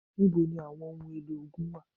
Níbo ni àwọn ohun èlò ogun wà?